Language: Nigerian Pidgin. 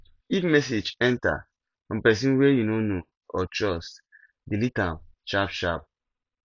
if message enter from person wey you no know or trust delete am sharp sharp